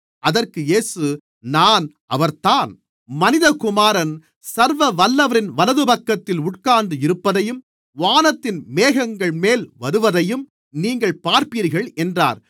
அதற்கு இயேசு நான் அவர்தான் மனிதகுமாரன் சர்வவல்லவரின் வலதுபக்கத்தில் உட்கார்ந்து இருப்பதையும் வானத்தின் மேகங்கள்மேல் வருவதையும் நீங்கள் பார்ப்பீர்கள் என்றார்